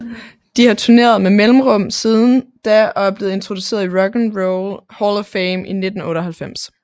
De har turneret med mellemrum siden da og blev introduceret i Rock and Roll Hall of Fame i 1998